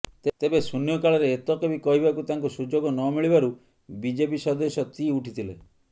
ତେବେ ଶୂନ୍ୟକାଳରେ ଏତକ ବି କହିବାକୁ ତାଙ୍କୁ ସୁଯୋଗ ନମିଳିବାରୁ ବିଜେପି ସଦସ୍ୟ ତାି ଉଠିଥିଲେ